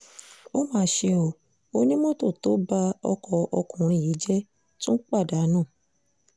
ó mà ṣe ọ́ onímọ́tò tó ba ọkọ ọkùnrin yìí jẹ́ tún pa á dànù